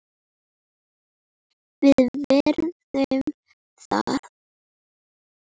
Við virðum það.